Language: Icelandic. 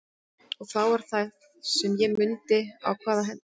Og þá var það sem ég mundi á hvað hendurnar höfðu minnt mig.